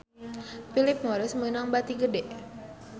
Philip Morris meunang bati gede